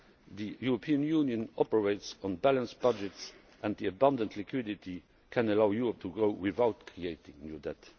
The European Union operates on balanced budgets, and the abundant liquidity can allow Europe to grow without creating new debt.